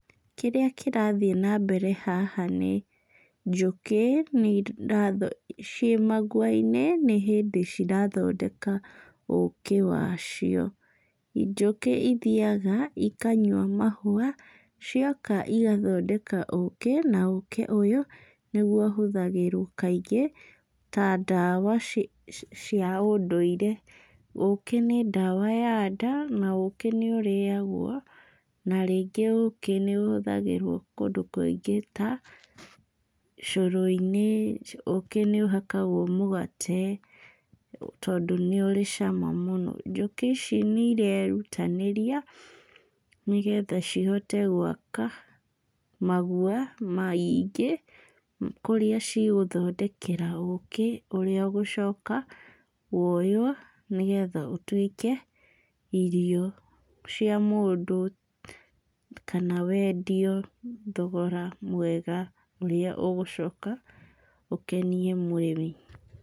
Kĩrĩa kĩrathiĩ nambere haha nĩ njũkĩ cimagua-inĩ, nĩ hĩndĩ cirathondeka ũkĩ wacio. Njũkĩ ithiaga ikanyua mahũa, cioka igathondeka ũkĩ, na ũkĩ ũyũ nĩguo ũhũthagĩrwo kaingĩ ta ndawa cia ũndũire. Ũkĩ nĩ ndawa ya nda na ũkĩ nĩ ũrĩagwo. Na rĩngĩ ũkĩ nĩ ũhũthagĩrwo kũndũ kũingĩ ta cũrũ-inĩ, ũkĩ nĩ ũhakagwo mũgate tondũ nĩ ũrĩ cama mũno. Njũkĩ ici nĩ ireerutanĩria nĩgetha cihote gwaka maguoa maingĩ kũrĩa cigũthondekera ũkĩ ũrĩa ũgũcoka woywo nĩgetha ũtuĩke irio cia mũndũ, kana wendio thogora mwega ũrĩa ũgũcoka ũkenie mwene.